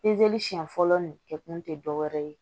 siɲɛ fɔlɔ nin kɛ kun tɛ dɔ wɛrɛ ye